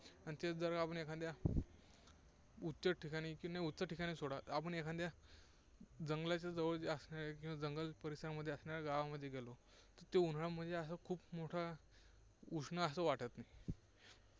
आणि तेच जर आपण एखाद्या उत्तर ठिकाणी, नाही उत्तर ठिकाणी सोडा. आपण एखाद्या जंगलाच्या जवळ जे असणारे, किंवा जंगल परिसरामध्ये असणाऱ्या गावामध्ये गेलो, तर तिथे उन्हाळा म्हणजे असा खूप मोठा उष्ण असा वाटत नाही